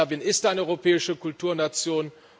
Serbien ist eine europäische Kulturnation.